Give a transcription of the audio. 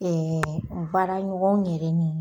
n baaraɲɔgɔnw yɛrɛ ni